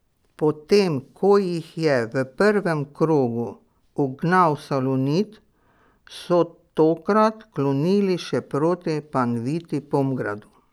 Potem ko jih je v prvem krogu ugnal Salonit so tokrat klonili še proti Panviti Pomgradu.